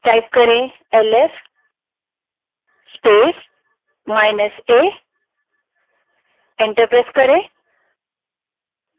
ls space minus a type करें और enter दबायें